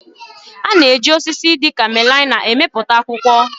A na-eji osisi dịka melaịna emepụta akwụkwọ